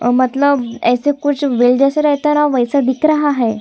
और मतलब ऐसे कुछ वेल जैसा रहता है न वैसा दिख रहा हैं।